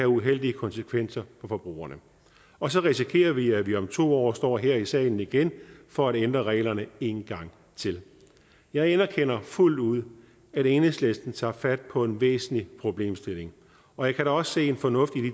uheldige konsekvenser for forbrugerne og så risikerer vi at vi om to år står her i salen igen for at ændre reglerne en gang til jeg anerkender fuldt ud at enhedslisten tager fat på en væsentlig problemstilling og jeg kan da også se en fornuft i